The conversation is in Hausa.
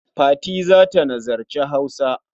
Fati za ta nazarci Hausa.